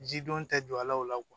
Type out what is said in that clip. Jidɔn tɛ jɔ a la o la